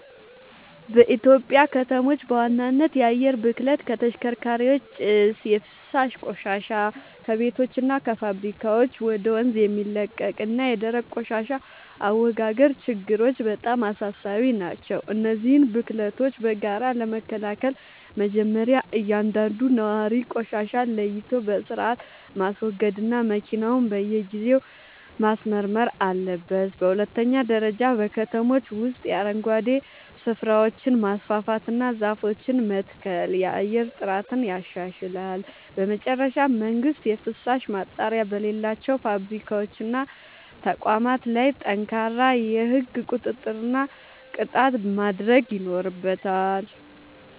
በኢትዮጵያ ከተሞች በዋናነት የአየር ብክለት (ከተሽከርካሪዎች ጭስ)፣ የፍሳሽ ቆሻሻ (ከቤቶችና ከፋብሪካዎች ወደ ወንዝ የሚለቀቅ) እና የደረቅ ቆሻሻ አወጋገድ ችግሮች በጣም አሳሳቢ ናቸው። እነዚህን ብክለቶች በጋራ ለመከላከል መጀመርያ እያንዳንዱ ነዋሪ ቆሻሻን ለይቶ በሥርዓት ማስወገድና መኪናውን በየጊዜው ማስመርመር አለበት። በሁለተኛ ደረጃ በከተሞች ውስጥ የአረንጓዴ ስፍራዎችን ማስፋፋትና ዛፎችን መትከል የአየር ጥራትን ያሻሽላል። በመጨረሻም መንግሥት የፍሳሽ ማጣሪያ በሌላቸው ፋብሪካዎችና ተቋማት ላይ ጠንካራ የሕግ ቁጥጥርና ቅጣት ማድረግ ይኖርበታል።